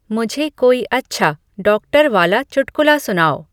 मुझे कोई अच्छा डॉक्टर वाला चुटकुला सुनाओ